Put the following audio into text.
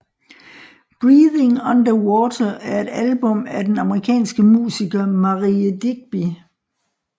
Breathing Underwater er et album af den amerikanske musiker Marié Digby